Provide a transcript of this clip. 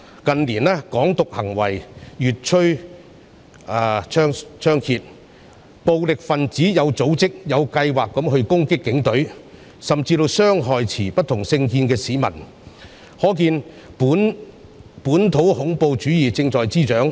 近年，"港獨"行為越趨猖獗，暴力分子有組織、有計劃地攻擊警隊，甚至傷害持不同政見的市民，可見本土恐怖主義正在滋長。